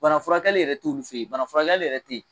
Bana furakɛli yɛrɛ t'olu bana furakɛli yɛrɛ te ye